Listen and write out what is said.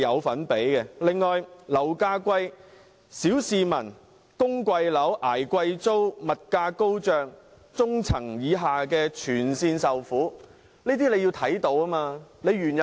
此外，樓價高昂，小市民要供貴樓、捱貴租，物價高漲，中層以下的市民全部受害。